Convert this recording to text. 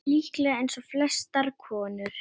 Líklega eins og flestar konur.